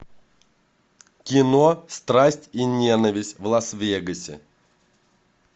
кино страсть и ненависть в лас вегасе